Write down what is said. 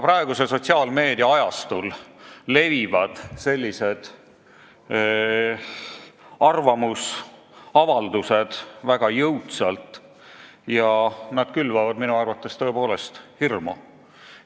Praegusel sotsiaalmeedia ajastul levivad sellised arvamusavaldused väga jõudsalt ja külvavad minu arvates tõepoolest hirmu.